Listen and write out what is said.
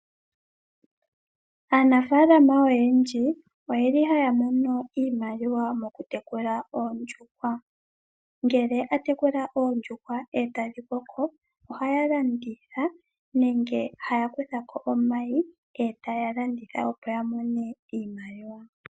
Aanafaalama oyendji oyeli haya mono iimaliwa mokutekula oondjuhwa. Ngele atekula oondjuhwa etadhi koko ohaya landitha nenge haya kuthako omayi etaya landitha opo yamone iimaliwa.